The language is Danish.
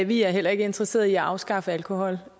vi er heller ikke interesseret i at afskaffe alkohol